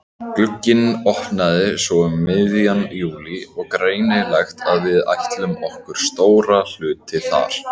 Glugginn opnaði svo um miðjan júlí og greinilegt að við ætluðum okkur stóra hluti þar.